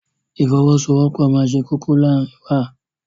Ìfọwọ́sowọ́pọ̀ máa ṣe kókó láàárín wa.